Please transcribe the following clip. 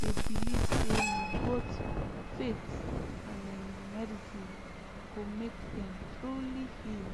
dey believe say na both faith and um medicine go make dem truly heal